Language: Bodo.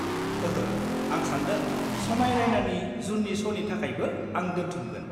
ओंहो, आं सानदों समाय राइनानि जुननि श'नि थाखायबो आं दोन्थुमगोन?